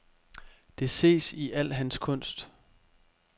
Det ses i al hans kunst.